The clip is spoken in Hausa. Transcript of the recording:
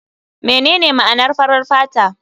Menene ma'anar farar fata?